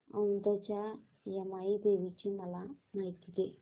औंधच्या यमाई देवीची मला माहिती दे